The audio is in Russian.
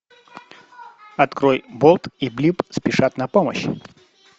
открой болт и блип спешат на помощь